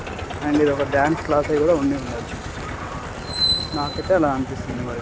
And ఇదొక dance class అయితే ఉండి ఉండొచ్చు. నాకైతే అలా అనిపిస్తుంది మరి.